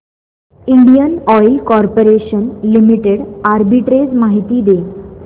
Indian oil corporation limited arbitrage माहिती दे